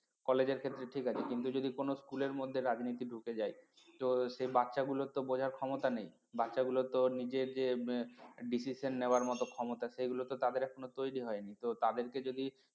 college এর ক্ষেত্রে ঠিক আছে কিন্তু যদি কোন school এর মধ্যে রাজনীতি ঢুকে যায় সেই বাচ্চাগুলো তো বোঝার ক্ষমতা নেই বাচ্চাগুলো তো নিজের যে decision নেওয়ার মতো ক্ষমতা সেগুলো তো তাদের এখনও তৈরি হয়নি তো তাদেরকে যদি